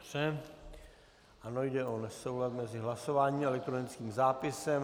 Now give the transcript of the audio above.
Ano, jde o nesoulad mezi hlasováním a elektronickým zápisem.